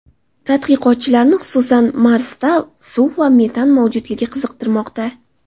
Tadqiqotchilarni, xususan, Marsda suv va metan mavjudligi qiziqtirmoqda.